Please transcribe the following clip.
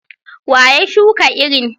Wa ya shuka irin?